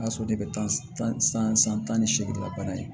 O y'a sɔrɔ ne bɛ tan san san tan ni seegin ka bana ye